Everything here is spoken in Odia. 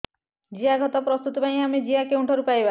ଜିଆଖତ ପ୍ରସ୍ତୁତ ପାଇଁ ଆମେ ଜିଆ କେଉଁଠାରୁ ପାଈବା